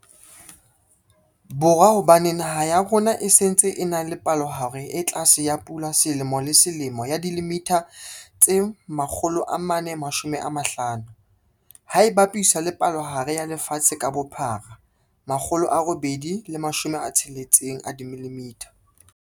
Borwa hobane naha ya rona e se ntse e na le palohare e tlase ya pula selemo le selemo ya dimililitha tse 450, ha e bapiswa le palohare ya lefatshe ka bophara 860ml.